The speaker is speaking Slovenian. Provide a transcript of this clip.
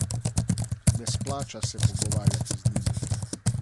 Ne splača se pogovarjati z njimi.